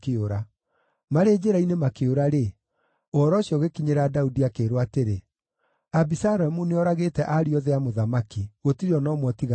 Marĩ njĩra-inĩ makĩũra-rĩ, ũhoro ũcio ũgĩkinyĩra Daudi, akĩĩrwo atĩrĩ, “Abisalomu nĩoragĩte ariũ othe a mũthamaki; gũtirĩ o na ũmwe ũtigarĩte.”